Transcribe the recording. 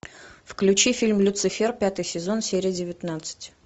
включи фильм люцифер пятый сезон серия девятнадцать